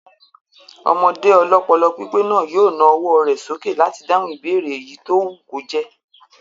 Ọmọdé ọlọ́pọlọpípé náà yóò na ọwọ́ rẹ̀ sókè láti dáhùn ìbéèrè èyí tó wù kó jẹ́